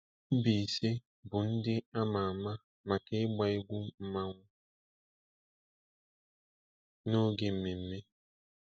Mbaise bụ ndị ama ama maka ịgba egwu mmanwụ n'oge mmemme.